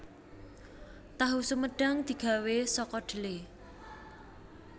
Tahu sumedhang digawé saka dhelè